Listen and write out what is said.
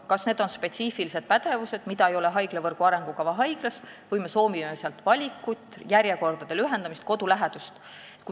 Kas need on spetsiifilised pädevused, mida ei ole haiglavõrgu arengukava haiglas, või me soovime valikut, järjekordade lühendamist, kodu lähedust?